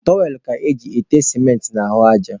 Tụrọwel ka eji ete sịmentị n'ahụ aja.